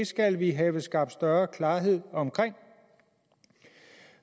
skal vi have skabt større klarhed omkring